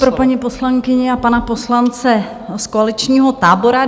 Pro paní poslankyni a pana poslance z koaličního tábora.